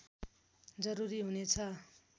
जरूरी हुनेछ